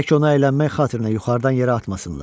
Tək onu əylənmək xatirinə yuxarıdan yerə atmasınlar.